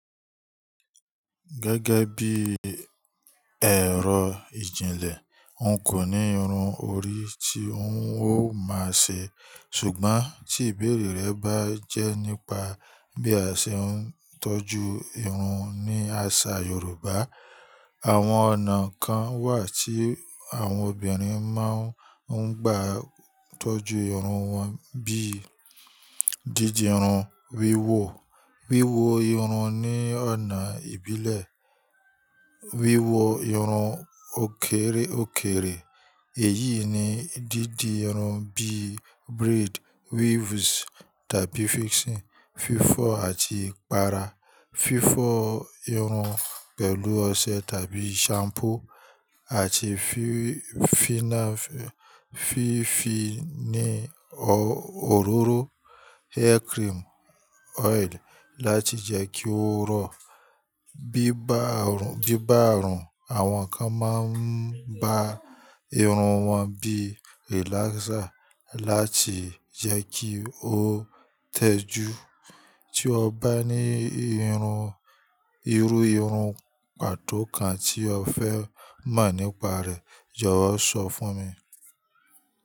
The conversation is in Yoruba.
Gẹ́gẹ́ bí ẹ̀rọ ìjìnlẹ̀, n kò ní irun orí tí ń ó máa ṣe, ṣùgbọ́n tí ìbéèrè rẹ bá jẹ́ nípa bí a ṣe ń tọ́jú irun ní àṣà Yorùbá, àwọn ọ̀nà kan wà tí àwọn obìnrin máa ń gbà tọ́jú irun wọn bí dídi irun wíwò, wíwo irun ní ọ̀nà ìbílẹ̀, wíwo irun òkèrèòkèrè, èyí ni dídi irun bí braid, weaves tàbí fixing, fífọ́ àti ìpara, fífọ́ irun pẹ̀lú ọṣẹ tàbí shampoo, àti fífi ní òróró hair cream oil láti jẹ́ kí ó rọ̀. Bí bá rùn, àwọn kan máa ń ba irun wọn bí relaxer láti jẹ́ kí ó tẹ́jú. Tí o bá ní irú irun pàtó kan tí o fẹ́ mọ̀ nípa rẹ̀, jọ̀wọ́ sọ fún mi.